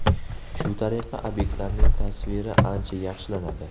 Shu tariqa obyektlarning tasviri ancha yaxshilanadi.